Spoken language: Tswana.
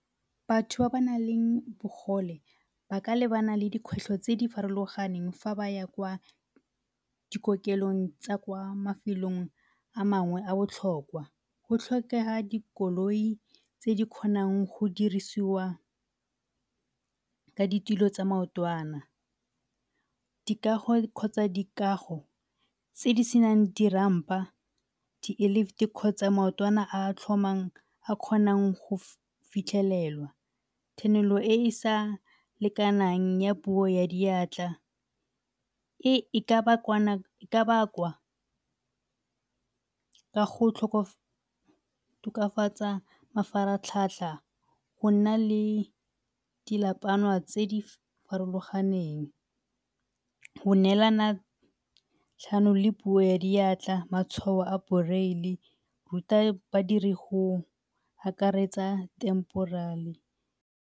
Batho ba ba na leng bogole ba ka lebana le dikgwetlho tse di farologaneng fa ba ya kwa dikokelong tsa mafelong a mangwe tsa botlhokwa go tlhokega dikoloi tse di kgonang go dirisiwa ka ditilo tsa maotwana, dikago kgotsa dikago tse di senang di-ramp-a, di-lift kgotsa maotwana a tlhomang a kgonang go fitlhelelwa, e e sa lekanang puo ya diatla e ka bakwa ka go go tokafatsa mafaratlhatlha go na le tse di farologaneng. Go neelana le puo ya diatla, matshwao a go ruta badiri go akaretsa .